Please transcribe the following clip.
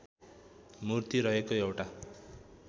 मूर्ति रहेको एउटा